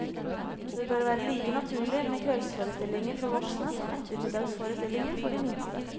Det bør være like naturlig med kveldsforestillinger for voksne som ettermiddagsforestillinger for de minste.